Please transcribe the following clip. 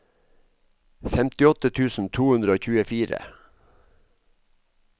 femtiåtte tusen to hundre og tjuefire